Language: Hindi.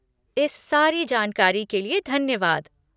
इस सारी जानकारी के लिए धन्यवाद।